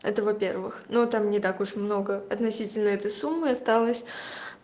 это во-первых но там не так уж много относительно этой суммы осталось